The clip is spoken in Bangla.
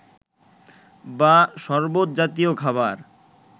বা সরবত জাতীয় খাবার